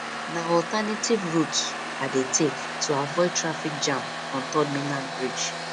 na alternative routes i dey take to avoid traffic jam on third mainland bridge